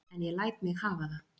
En ég læt mig hafa það.